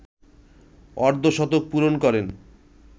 অর্ধশতক পূরণ করেন